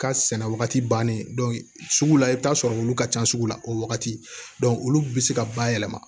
Ka sɛnɛ wagati bannen sugu la i bɛ t'a sɔrɔ olu ka can sugu la o wagati olu bɛ se ka bayɛlɛma